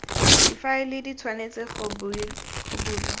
difaele di tshwanetse go bulwa